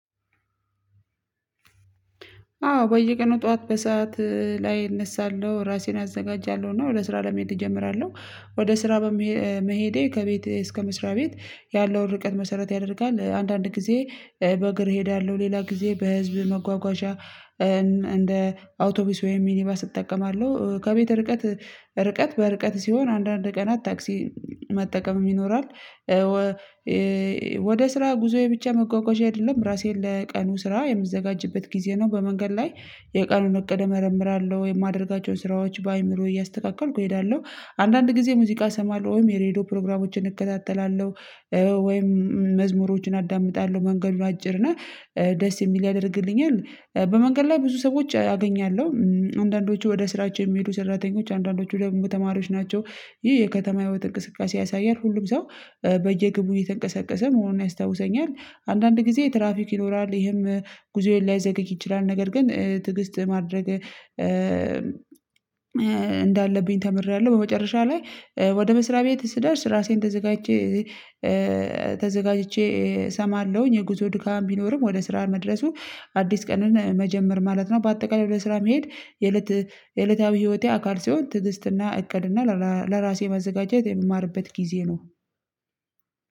አዎ በየቀኑ ጠዋት በሰአት ላይ እነሳለሁ ራሴን አዘጋጃለሁ እና ወደ ስራ ለመሄድ እጀምራለሁ ወደ ስራ በመሄዴ ከቤቴ እስከ መስሪያ ቤት ያለውን ርቀት መሰረት ያደርጋል አንዳንድ ጊዜ በእግር እሄዳለሁ ሌላ ጊዜ በህዝብ መጓጓዣ እንደ አውቶቡስ ወይም ሚኒባስ እጠቀማለሁ ከቤት ርቀት ርቀት በርቀት ሲሆን አንዳንድ ቀናት ታክሲ መጠቀምም ይኖራል። ወደ ስራ ጉዞዬ ብቻ መጓጓዣ አይደለም ራሴን ለቀኑ ስራ የምዘጋጅበት ጊዜ ነው። በመንገድ ላይ የቀኑን እቅድ እመረምራለሁ የማድረጋቸውን ስራዎች በአይምሮዬ እያስተካከልኩ እሄዳለሁ። አንዳንድ ጊዜ ሙዚቃ እሰማለሁ ወይም የሬድዮ ፕሮግራሞችን እከታተላለሁ። ወይም መዝሙሮችን አዳምጣለሁ መንገዱ አጭር እና ደስ የሚል ያደርግልኛል በመንገድ ላይ ብዙ ሰዎች አገኛለሁ አንዳንዶቹ ወደ ስራቸው የሚሄዱ ሰራተኞች አንዳንዶቹ ደግሞ ተማሪዎች ናቸው። ይህ የከተማ ህይወት እንቅስቃሴ ያሳያል ሁሉም ሰው በየግብ እየተንቀሰቀሰ መሆኑን ያስታውሰኛል። አንዳንድ ጊዜ ትራፊክ ይኖራል ይሄም ጉዞዬን ላያዘገይ ይችላል ነገር ግን ትግስት ማድረግ እንዳለብኝ ተምሬያለሁ። በመጨረሻ ላይ ወደ መስሪያ ቤት ስደርስ ራሴን ተዘጋጅቼ ተዘጋጅቼ እሰማለሁኝ የጉዞ ድካም ቢኖርም ወደ ስራ መድረሱ አዲስ ቀንን መጀመር ማለት ነው። በአጠቃላይ ወደ ስራ መሄድ የዕለታዊ ህይወቴ አካል ሲሆን ትዕግስትና እቅድና ለራሴ መዘጋጀት የምማርበት ጊዜ ነው።